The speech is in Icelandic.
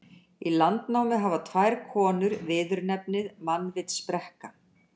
Í Landnámu hafa tvær konur viðurnefnið mannvitsbrekka.